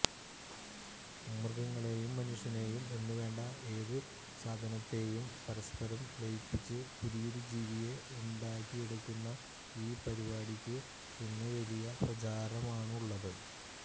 മൃഗങ്ങളെയും മനുഷ്യനെയും എന്നുവേണ്ട ഏതു സാധനത്തെയും പരസ്പരം ലയിപ്പിച്ച് പുതിയൊരു ജീവിയെ ഉണ്ടാക്കിയെടുക്കുന്ന ഈ പരിപാടിക്ക് ഇന്ന് വലിയ പ്രചാരമാണുള്ളത്